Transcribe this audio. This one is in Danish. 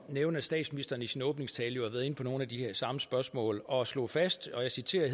nævne at statsministeren i sin åbningstale jo var inde på nogle af de samme spørgsmål og slog fast og jeg citerer